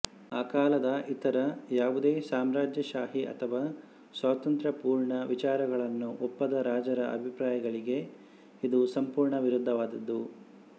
ಆ ಕಾಲದ ಇತರ ಯಾವುದೇ ಸಾಮ್ರಾಜ್ಯಶಾಹಿ ಅಥವಾ ಸ್ವಾತಂತ್ರ್ಯಪೂರ್ಣ ವಿಚಾರಗಳನ್ನು ಒಪ್ಪದ ರಾಜರ ಅಭಿಪ್ರಾಯಗಳಿಗೆ ಇದು ಸಂಪೂರ್ಣ ವಿರುದ್ಧವಾದದ್ದು